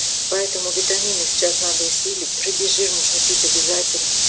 поэтому витамины сейчас надо усилить рыбий жир нужно пить обязательно